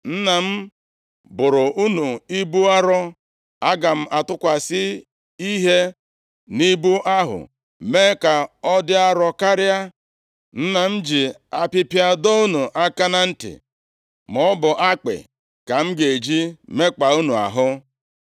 Nna m boro unu ibu arọ; aga m atụkwasị ihe nʼibu ahụ mee ka ọ dị arọ karịa. Nna m ji apịpịa dọọ unu aka na ntị, maọbụ akpị ka m ga-eji mekpaa unu ahụ.’ ”